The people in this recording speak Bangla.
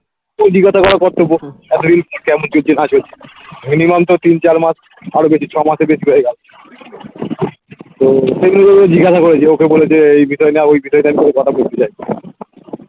ওই জিজ্ঞাসা করার কর্তব্য minimum তো তিন চার মাস আরও বেশি ছ মাসের বেশি হয়ে গেলো ও তেমনি ও জিজ্ঞাসা করেছে ওকে বলেছে এই বিষয় নিয়ে আর ওই বিষয়টা নিয়ে কোনো কথা বলতে চাই না